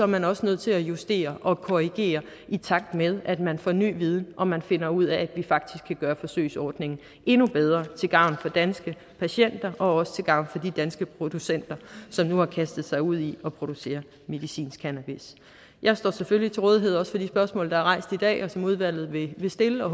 man også nødt til at justere og korrigere i takt med at man får ny viden og man finder ud af at vi faktisk kan gøre forsøgsordningen endnu bedre til gavn for danske patienter og også til gavn for danske producenter som nu har kastet sig ud i at producere medicinsk cannabis jeg står selvfølgelig til rådighed for de spørgsmål der er rejst i dag og som udvalget vil stille og